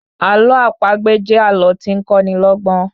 Àlọ́ àpagbè jẹ́ àlọ́ tí ń kọ́ ni lọ́gbọ́n